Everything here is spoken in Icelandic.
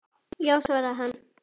Já, svaraði hann.